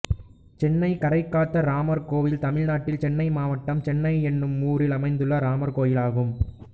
சென்னை கரைக்காத்த ராமர் கோயில் தமிழ்நாட்டில் சென்னை மாவட்டம் சென்னை என்னும் ஊரில் அமைந்துள்ள ராமர் கோயிலாகும்